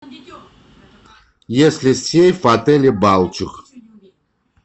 есть ли сейф в отеле балчуг